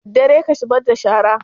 Daddare ka zubar da shara?